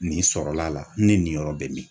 Nin sɔrɔla ne nin yɔrɔ bɛ min.